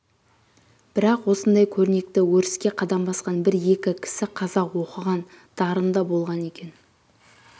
бірақ осындай көрнекті өріске қадам басқан бір-екі кісі қазақ оқыған-дарында болған екен